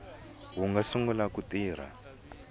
wu nga sungula ku tirha